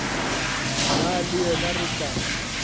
nna le yena re tla